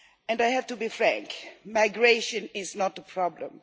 I have to be frank, migration is not a problem.